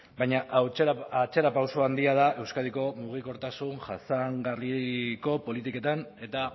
baina atzerapauso handia da euskadiko mugikortasun jasangarriko politiketan eta